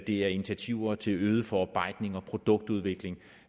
det er initiativer til øget forarbejdning og produktudvikling